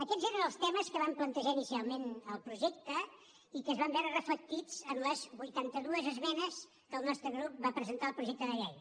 aquests eren els temes que vam plantejar inicialment al projecte i que es van veure reflectits en les vuitanta dues esmenes que el nostre grup va presentar al projecte de llei